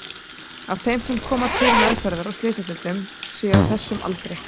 af þeim sem koma til meðferðar á slysadeildum séu á þessum aldri.